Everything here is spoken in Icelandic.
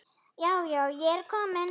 Já, já, ég er komin!